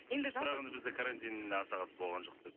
енді жалпы бірақ енді бізде карантин аса қатты болған жоқ